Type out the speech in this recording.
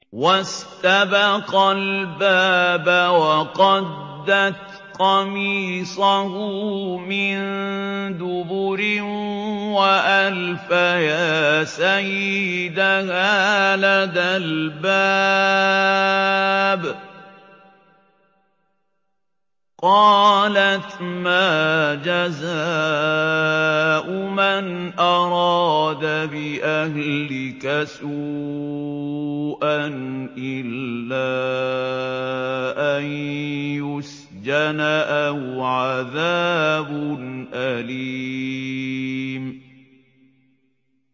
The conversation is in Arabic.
وَاسْتَبَقَا الْبَابَ وَقَدَّتْ قَمِيصَهُ مِن دُبُرٍ وَأَلْفَيَا سَيِّدَهَا لَدَى الْبَابِ ۚ قَالَتْ مَا جَزَاءُ مَنْ أَرَادَ بِأَهْلِكَ سُوءًا إِلَّا أَن يُسْجَنَ أَوْ عَذَابٌ أَلِيمٌ